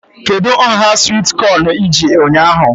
Kedụ nhá swit kọn iji ụnyaahụ?